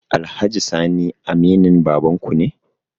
Alhaji sani aminin babanku ne?